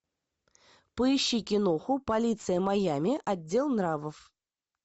поищи киноху полиция майами отдел нравов